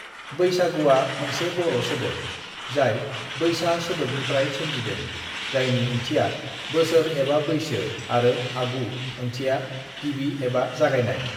बैसागुआ मोनसे बर' सोदोब, जाय बैसा सोदोबनिफ्राय सोमजिदों जायनि ओंथिया बोसोर एबा बैसो आरो आगु ओंथिया गिबि एबा जागायनाय।